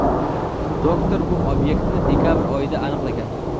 Doktor bu obyektni dekabr oyida aniqlagan.